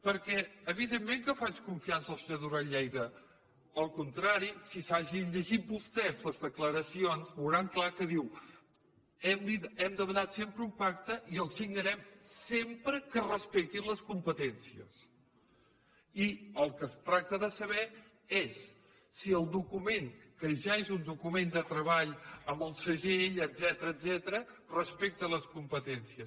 perquè evidentment que faig confiança al senyor duran lleida al contrari si s’han llegit vostès les declaracions veuran clar que diu hem demanat sempre un pacte i el signarem sempre que es tracta de saber és si el document que ja és un document de treball amb el segell etcètera respecta les competències